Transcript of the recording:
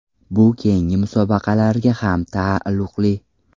Bu keyingi musobaqalarga ham taalluqli.